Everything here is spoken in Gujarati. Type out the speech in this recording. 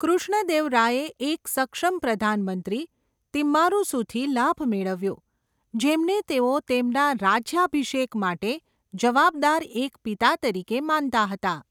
કૃષ્ણદેવરાયે એક સક્ષમ પ્રધાન મંત્રી તિમ્મારુસુથી લાભ મેળવ્યો, જેમને તેઓ તેમના રાજ્યાભિષેક માટે જવાબદાર એક પિતા તરીકે માનતા હતા.